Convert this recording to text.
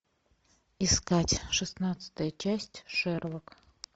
искать шестнадцатая часть шерлок